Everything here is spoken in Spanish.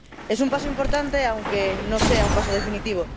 Es un paso importante, aunque no sea un paso definitivo.